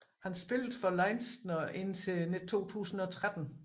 Han spillede for Leinster indtil 2013